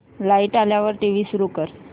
light आल्यावर TV सुरू कर